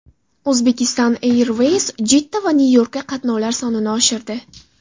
Uzbekistan Airways Jidda va Nyu-Yorkka qatnovlar sonini oshirdi .